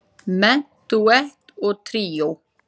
Menúett og tríó